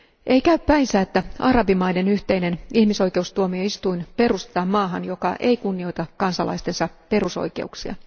Ei käy päinsä, että arabimaiden yhteinen ihmisoikeustuomioistuin perustetaan maahan, joka ei kunnioita kansalaistensa perusoikeuksia.